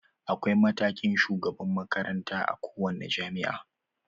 Akwai mataimakin shugaban makaranta a kowane jami'a.